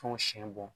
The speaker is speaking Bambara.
Tɔn siɲɛ bɔ